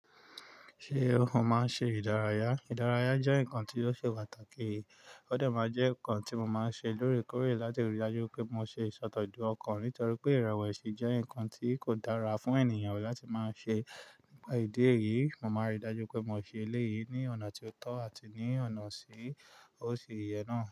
Ṣé o máa ń ṣe ìdárayá? Ìdárayá jẹ́ nǹkan tí ó ṣe pàtàkì. Ó dẹ́ má jẹ́ ǹkan tí mo máa ń ṣe lóòrèkóòrè láti rí i dájú pé mo ṣe ìṣòdò ju ọkàn nítorí pé ìrewèsì jẹ́ ǹkan tí kò dára fún ènìyàn rí láti máa ṣe. Nípa ìdí èyí, mo màá ń rí dájú pé mo ṣe eléyìí ní ọ̀nà tí ó tọ́ àti ní ọ̀nà tí ó ṣi yẹ náà.